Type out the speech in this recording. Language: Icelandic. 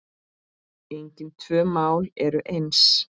Engin tvö mál eru eins.